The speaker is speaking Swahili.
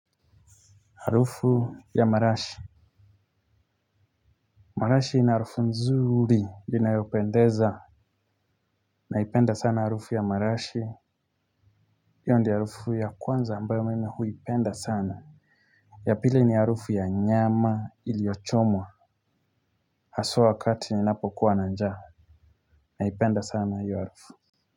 Harufu ya marashi. Marashi ina harufu nzuri. Ina yopendeza. Naipenda sana harufu ya marashi. Hiyo ndiyo harufu ya kwanza ambayo mimi huipenda sana. Yapili ni harufu ya nyama iliyochomwa. Haswa wakati ni napo kuwa nanjaa. Naipenda sana hiyo harufu.